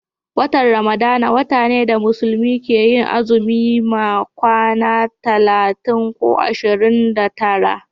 watan ramadana wata ne da musulmai ke yin azumi ma kwana talatin ko ashirin da tara